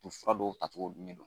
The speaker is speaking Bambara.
U fura dɔw tacogo dun ye